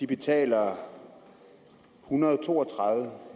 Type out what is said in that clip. betaler en hundrede og to og tredive